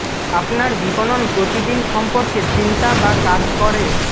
আপনার বিপণন প্রতি দিন সম্পর্কে চিন্তা বা কাজ করে